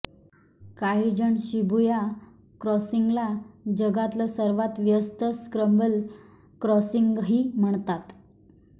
काहीजण शिबुया क्रॉसिंगला जगातलं सर्वात व्यस्त स्क्रँबल क्रॉसिंगही म्हणतात